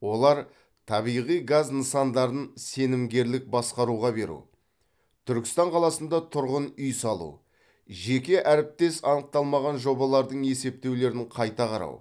олар табиғи газ нысандарын сенімгерлік басқаруға беру түркістан қаласында тұрғын үй салу жеке әріптес анықталмаған жобалардың есептеулерін қайта қарау